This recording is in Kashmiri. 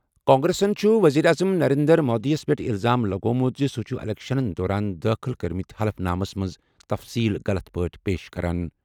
کانگریسَن چھُ وزیر اعظم نریندر مودی یَس پٮ۪ٹھ الزام لگوٚومُت زِ سُہ چھُ اِلیکشنَن دوران دٲخل کٔرمٕتۍ حلف نامَس منٛز تفصیٖل غلط پٲٹھۍ پیش کران۔